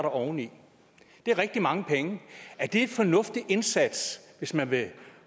oveni det er rigtig mange penge er det en fornuftig indsats hvis man vil